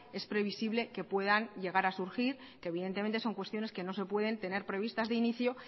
es previsible que puedan llegar a surgir que evidentemente son cuestiones que no se pueden tener previstas de inicio